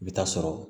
I bɛ taa sɔrɔ